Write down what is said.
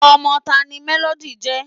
ọmọ taani Melody ńje?